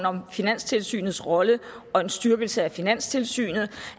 om finanstilsynets rolle og en styrkelse af finanstilsynet og